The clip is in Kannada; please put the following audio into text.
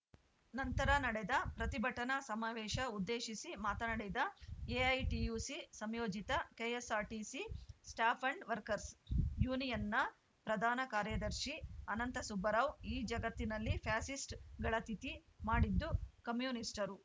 ನಂತರ ನಡೆದ ಪ್ರತಿಭಟನಾ ಸಮಾವೇಶ ಉದ್ದೇಶಿಸಿ ಮಾತನಾಡಿದ ಎಐಟಿಯುಸಿ ಸಂಯೋಜಿತ ಕೆಎಸ್ಸಾರ್ಟಿಸಿ ಸ್ಟ್ಯಾಪ್‌ ಆ್ಯಂಡ್‌ ವರ್ಕರ್ಸ್ ಯೂನಿಯನ್‌ನ ಪ್ರಧಾನ ಕಾರ್ಯದರ್ಶಿ ಅನಂತ ಸುಬ್ಬರಾವ್‌ ಈ ಜಗತ್ತಿನಲ್ಲಿ ಫ್ಯಾಸಿಸ್ಟ್‌ಗಳ ತಿಥಿ ಮಾಡಿದ್ದು ಕಮ್ಯುನಿಸ್ಟರು